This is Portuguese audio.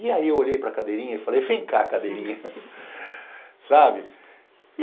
E aí eu olhei para cadeirinha e falei, vem cá, cadeirinha.